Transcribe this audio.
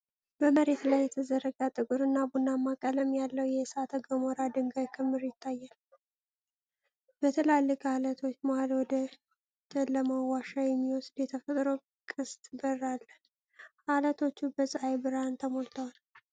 በመሬት ላይ የተዘረጋ ጥቁርና ቡናማ ቀለም ያለው የእሳተ ገሞራ ድንጋይ ክምር ይታያል። በትላልቅ ዓለቶች መሃል ወደ ጨለማው ዋሻ የሚወስድ የተፈጥሮ ቅስት በር አለ። ዓለቶቹ በፀሐይ ብርሃን ተሞልተዋል።